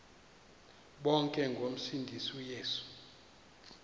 bonke ngomsindisi uyesu